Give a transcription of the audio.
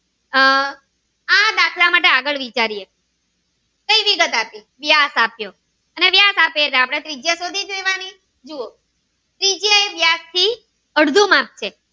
આહ આ દાખલા માટે આપણે આગળ વિચારીએ કઈ વિગત આપી વ્યાસ આપ્યો અને વ્યાસ આપે એટલે આપણે ત્રિજ્યા શોધી જ લેવાની જુઓ